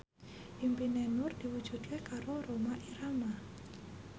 impine Nur diwujudke karo Rhoma Irama